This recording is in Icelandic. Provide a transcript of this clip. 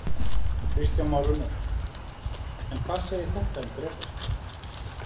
Kristján Már Unnarsson: En hvað segir þetta um Drekasvæðið?